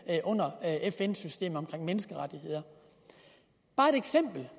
under fn systemet omkring menneskerettigheder bare et eksempel